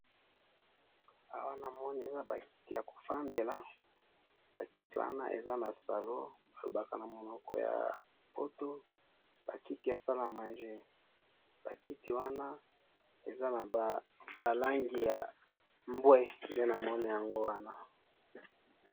awa namoni eza bakiti ya kofandela, bakiti wana eza na salon balobaka namonoko ya poto bakiti ya salle a manger, bakiti wana eza naba langi ya mbue, nde namoni yango wana